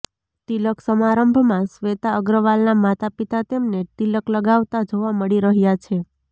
તિલક સમારંભમાં શ્વેતા અગ્રવાલના માતા પિતા તેમને તિલક લગાવતા જોવા મળી રહ્યા છે